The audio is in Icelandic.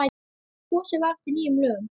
Kosið var eftir nýjum lögum.